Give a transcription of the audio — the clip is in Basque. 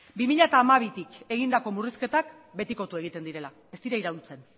bi mila hamabitik egindako murrizketak betikotu egiten direla ez diren iraultzen